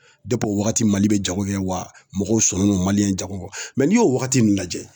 Depi o wagati mali be jago kɛ wa mɔgɔw sɔnnen don maliyɛn jago mɛ n'i y'o wagati nun lajɛ